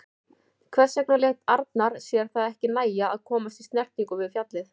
Hvers vegna lét Arnar sér það ekki nægja að komast í snertingu við fjallið?